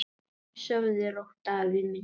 Sofðu rótt, afi minn.